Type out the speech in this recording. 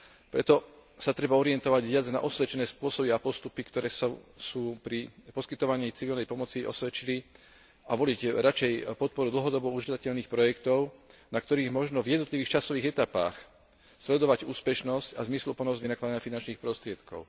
Preto sa treba orientovať viac na osvedčené spôsoby a postupy, ktoré sa pri poskytovaní civilnej pomoci osvedčili a voliť radšej podporu dlhodobo užívateľných projektov, na ktorých možno v jednotlivých časových etapách sledovať úspešnosť a zmysluplnosť vynakladania finančných prostriedkov.